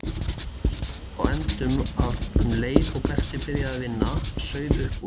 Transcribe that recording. Stóð á endum að um leið og Berti byrjaði að vinna sauð upp úr.